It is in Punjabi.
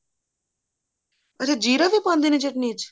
ਅੱਛਾ ਜ਼ੀਰਾ ਵੀ ਪਾਉਂਦੇ ਨੇ ਚਟਨੀ ਚ